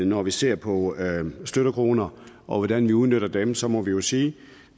når vi ser på støttekroner og hvordan vi udmønter dem så må vi vi sige